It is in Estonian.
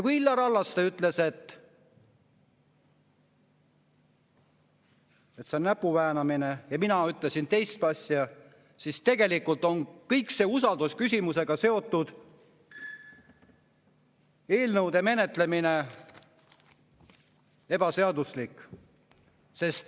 Kui Illar Hallaste ütles, et see on näpuväänamine, ja mina ütlesin teist asja, siis tegelikult on kõik see usaldusküsimusega seotud eelnõude menetlemine ebaseaduslik.